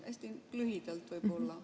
Hästi lühidalt võib-olla.